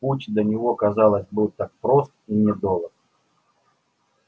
путь до него казалось был так прост и недолог